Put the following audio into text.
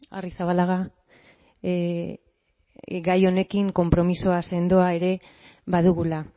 arrizabalaga gai honekin konpromisoa sendoa ere badugula